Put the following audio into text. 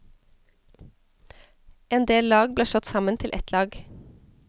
En del lag ble slått sammen til ett lag.